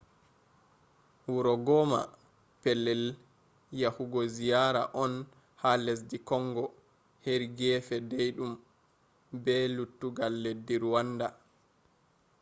wuro goma pellel yagugo ziyara on ha leddi kongo heri gefe daid um be lettugal leddi ruwanda